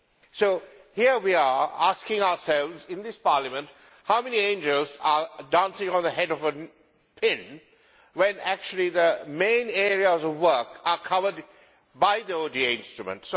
So here we are asking ourselves, in this Parliament, how many angels are dancing on the head of a pin when, in fact, the main area of the work is covered by the ODA instrument.